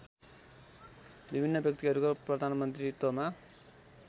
विभिन्न व्यक्तिहरूको प्रधानमन्त्रीत्वमा